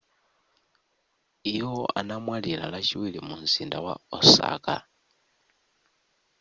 iwo anamwalira lachiwiri mu mzinda wa osaka